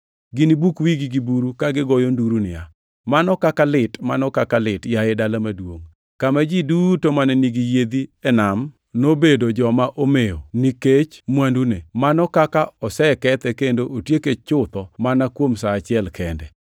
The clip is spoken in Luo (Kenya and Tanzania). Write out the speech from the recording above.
Ginibuk wigi gi buru ka gigoyo nduru niya, “ ‘Mano kaka lit! Mano kaka lit, yaye dala maduongʼ, kama ji duto mane nigi yiedhi e nam, nobedo joma omewo nikech mwandune. Mano kaka osekethe kendo otieke chutho mana kuom sa achiel kende!’